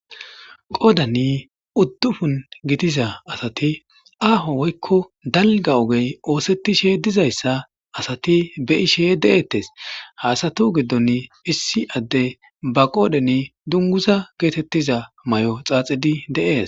qoodani uddufun gitiza asati aaho woykko dalga ogey oosetishe dizayssa asati be ishe de7eettes haasatu giddon issi adde ba qoodeni dunguza geetettiza may7o xaaxidi de7ees